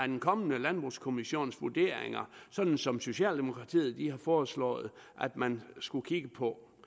den kommende landbrugskommissions vurderinger sådan som socialdemokratiet har foreslået at man skulle kigge på